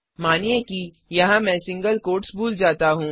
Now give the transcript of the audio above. मानिए कि यहाँ मैं सिंगल कोट्स भूल जाता हूँ